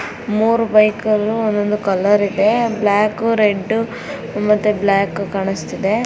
ಮೂರು ಬೈಕ್ ಗಳು ಒಂದೊಂದು ಕಲರ್ ಇದೆ ಬ್ಲಾಕ್ ರೆಡ್ ಮತ್ತೆ ಬ್ಲಾಕ್ ಕಾಣಿಸ್ತಾ ಇದೆ.